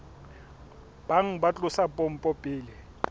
bang ba tlosa pompo pele